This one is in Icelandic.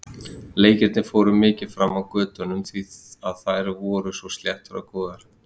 Leikirnir fóru mikið fram á götunum því að þær voru svo sléttar og góðar.